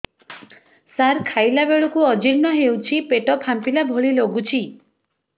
ସାର ଖାଇଲା ବେଳକୁ ଅଜିର୍ଣ ହେଉଛି ପେଟ ଫାମ୍ପିଲା ଭଳି ଲଗୁଛି